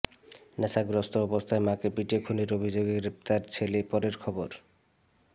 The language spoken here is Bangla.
নেশাগ্রস্ত অবস্থায় মাকে পিটিয়ে খুনের অভিযোগে গ্রেফতার ছেলে পরের খবর